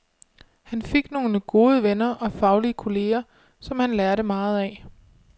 Han fik nogle gode venner og faglige kolleger, som han lærte meget af.